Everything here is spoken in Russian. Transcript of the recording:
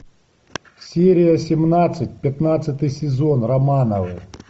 серия семнадцать пятнадцатый сезон романовы